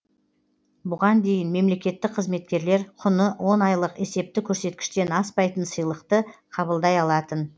бұған дейін мемлекеттік қызметкерлер құны он айлық есепті көрсеткіштен аспайтын сыйлықты қабылдай алатын